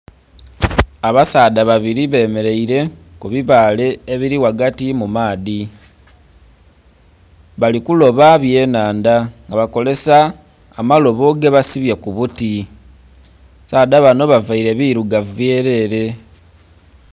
Abasaadha babiri bemereire ku bibale ebiri ghagati mu maadhi bali kuloba bye nhandha nga bakozesa amalobo gebasibye ku buuti, abasaadha banho bambaire birugavu byerere.